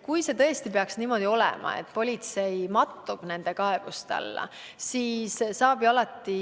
Kui tõesti peaks minema niimoodi, et politsei mattub nende kaebuste alla, siis saab ju alati